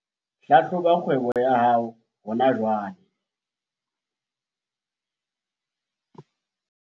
Hlahloba kgwebo ya hao hona jwale